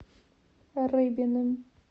рыбиным